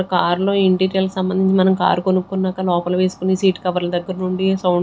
car లో interior సంబంధించి మనం కార్ కొనుక్కున్నాక లోపల వేసుకునే సీట్ కవర్ల దగ్గర నుండి సౌండ్ --